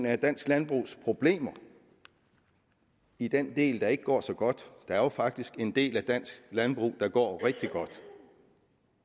af dansk landbrugs problemer i den del der ikke går så godt der er jo faktisk en del af dansk landbrug der går rigtig godt